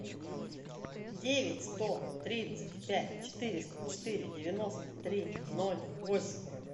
девять сто тридцать пять четыреста четыре девяносто три ноль восемь